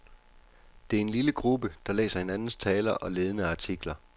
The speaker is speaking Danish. Det er en lille gruppe, der læser hinandens taler og ledende artikler.